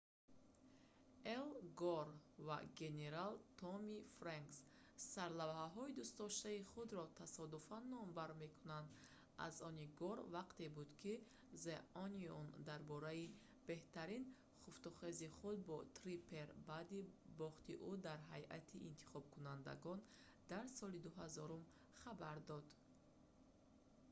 эл гор ва генерал томми фрэнкс сарлавҳаҳои дӯстдоштаи худро тасодуфан номбар мекунанд аз они гор вақте буд ки the onion дар бораи беҳтарин хуфтухези худ бо триппер баъди бохти ӯ дар ҳайати интихобкунандагон дар соли 2000 хабар дод